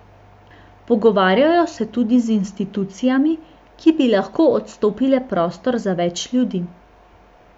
Pogovarjajo se tudi z institucijami, ki bi lahko odstopile prostor za več ljudi.